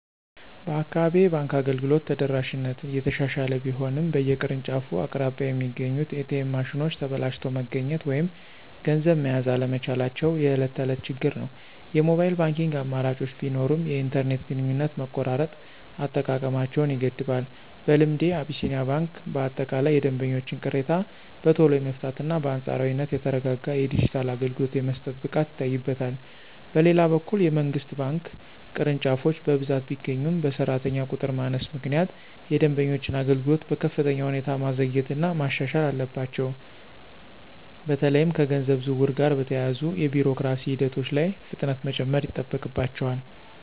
በአካባቢዬ የባንክ አገልግሎት ተደራሽነት እየተሻሻለ ቢሆንም፣ በየቅርንጫፎቹ አቅራቢያ የሚገኙት ኤ.ቲ.ኤም ማሽኖች ተበላሽተው መገኘት ወይም ገንዘብ መያዝ አለመቻላቸው የዕለት ተዕለት ችግር ነው። የሞባይል ባንኪንግ አማራጮች ቢኖሩም፣ የኢንተርኔት ግንኙነት መቆራረጥ አጠቃቀማቸውን ይገድባል። በልምዴ፣ አቢሲኒያ ባንክ በአጠቃላይ የደንበኞችን ቅሬታ በቶሎ የመፍታትና በአንጻራዊነት የተረጋጋ የዲጂታል አገልግሎት የመስጠት ብቃት ይታይበታል። በሌላ በኩል፣ የመንግሥት ባንክ ቅርንጫፎች በብዛት ቢገኙም፣ በሠራተኛ ቁጥር ማነስ ምክንያት የደንበኞችን አገልግሎት በከፍተኛ ሁኔታ ማዘግየትና ማሻሻል አለባቸው። በተለይም ከገንዘብ ዝውውር ጋር በተያያዙ የቢሮክራሲ ሂደቶች ላይ ፍጥነት መጨመር ይጠበቅባቸዋል።